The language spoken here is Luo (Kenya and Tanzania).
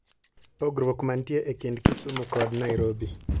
Pogruok mantie e kind kisumu kod nairobi